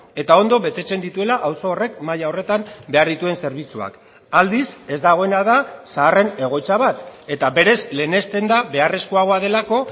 eta ondo betetzen dituela auzo horrek maila horretan behar dituen zerbitzuak aldiz ez dagoena da zaharren egoitza bat eta berez lehenesten da beharrezkoagoa delako